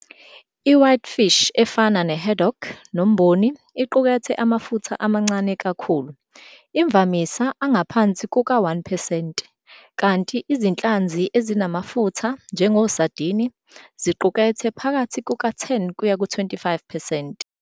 I-Whitefish, efana ne-haddock nomboni, iqukethe amafutha amancane kakhulu, imvamisa angaphansi kuka-1 percent, kanti izinhlanzi ezinamafutha, njengosardini, ziqukethe phakathi kuka-10-25 percent.